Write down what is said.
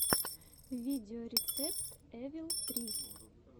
видеорецепт эвил три